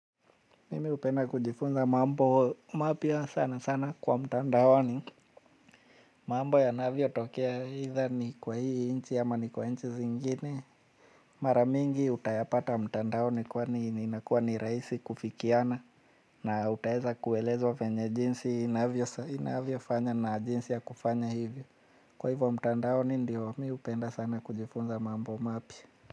Mimi hupenda kujifunza mambo mapya sana sana kwa mtandaoni. Mambo yanavyo tokea either ni kwa hii nchi ama ni kwa nchi zingine. Mara mingi utayapata mtandaoni kwa ni inakuwa ni rahisi kufikiana. Na utaweza kuelezwa vyenye jinsi inavyo inavyo fanya na jinsi ya kufanya hivyo. Kwa hivyo mtandaoni ndio mimi hupenda sana kujifunza mambo mapya.